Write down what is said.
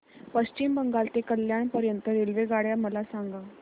पश्चिम बंगाल ते कल्याण पर्यंत च्या रेल्वेगाड्या मला सांगा